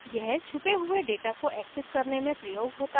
यह छुपे हुए data को access करने में प्रयोग होता है